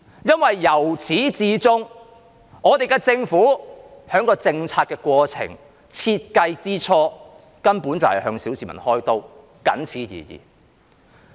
因為由始至終，香港政府在制訂政策的過程或在設計之初，根本便是向小市民開刀，僅此而已。